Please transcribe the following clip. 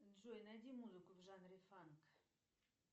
джой найди музыку в жанре фанк